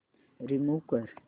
remove कर